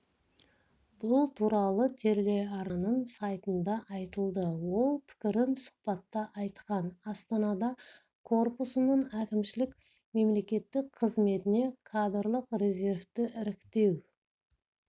бұл туралы телеарнаның сайтында айтылды ол пікірін сұхбатта айтқан астанада корпусының әкімшілік-мемлекеттік қызметіне кадрлық резервті іріктеу